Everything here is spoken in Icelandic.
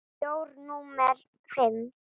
Með bjór númer fimm.